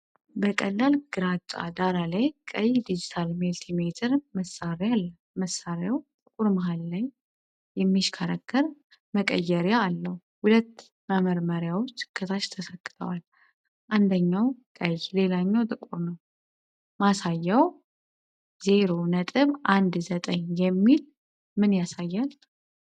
በቀላል ግራጫ ዳራ ላይ ቀይ ዲጂታል መልቲሜትር መሳሪያ አለ። መሳሪያው ጥቁር መሃል ላይ የሚሽከረከር መቀየሪያ አለው። ሁለት መመርመሪያዎች ከታች ተሰክተዋል፤ አንደኛው ቀይ ሌላኛው ጥቁር ነው። ማሳያው '0.19' የሚል ምን ያሳያል?